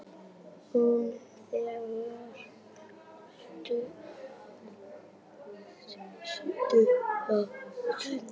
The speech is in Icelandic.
Hún þagnar stutta stund.